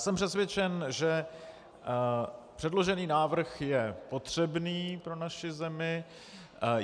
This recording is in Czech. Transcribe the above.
Jsem přesvědčen, že předložený návrh je potřebný pro naši zemi.